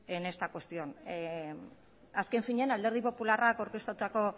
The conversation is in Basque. en esta cuestión azken finean alderdi popularrak aurkeztutako